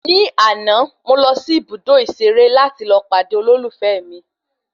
Ní àná, mo lọ sí ibùdó ìṣeré láti lọ pàdé olólùfẹ́ mi